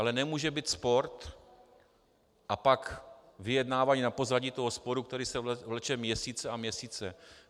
Ale nemůže být spor a pak vyjednávání na pozadí toho sporu, který se vleče měsíce a měsíce.